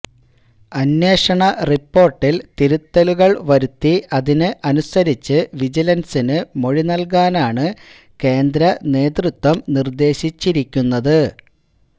അന്വേഷണ റിപ്പോര്ട്ടില് തിരുത്തലുകള് വരുത്തി അതിന് അനുസരിച്ച് വിജിലന്സിന് മൊഴി നല്കാനാണ് കേന്ദ്ര നേതൃത്വം നിര്ദേശിച്ചിരിക്കുന്നത്